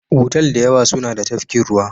Otal da yawa suna da tafkin ruwa.